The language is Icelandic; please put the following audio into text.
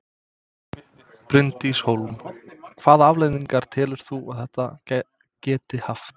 Bryndís Hólm: Hvaða afleiðingar telur þú að þetta geti haft?